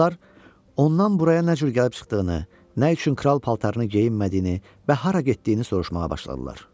Qızlar ondan buraya nə cür gəlib çıxdığını, nə üçün kral paltarını geyinmədiyini və hara getdiyini soruşmağa başladılar.